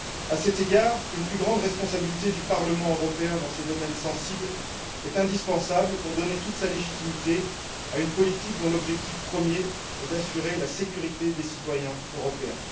À cet égard, une plus grande responsabilité du Parlement européen dans ces domaines sensibles est indispensable pour donner toute sa légitimité à une politique dont l'objectif premier est d'assurer la sécurité des citoyens européens.